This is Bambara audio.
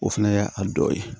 O fɛnɛ y'a a dɔ ye